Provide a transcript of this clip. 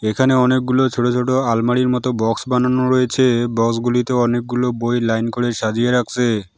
এখানে অনেকগুলো ছোট ছোট আলমারির মতো বক্স বানানো রয়েছে বক্সগুলিতে অনেকগুলো বই লাইন করে সাজিয়ে রাখসে ।